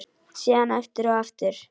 Síðan aftur og aftur.